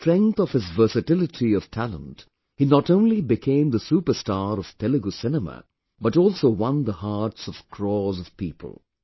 On the strength of his versatility of talent, he not only became the superstar of Telugu cinema, but also won the hearts of crores of people